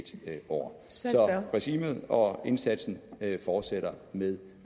år så regimet og indsatsen fortsætter med